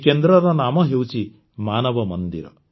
ଏହି କେନ୍ଦ୍ରର ନାମ ହେଉଛି ମାନବ ମନ୍ଦିର